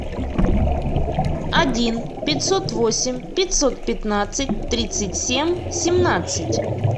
один пятьсот восемь пятьсот пятнадцать тридцать семь семнадцать